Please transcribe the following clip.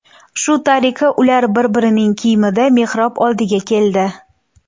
Shu tariqa, ular bir-birining kiyimida mehrob oldiga keldi.